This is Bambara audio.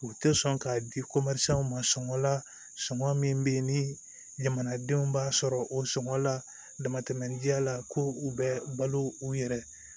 U tɛ sɔn ka di ma sɔngɔ la sɔngɔ min bɛ yen ni jamanadenw b'a sɔrɔ o sɔngɔ la damatɛmɛ jɛ la ko u bɛ balo u yɛrɛ ye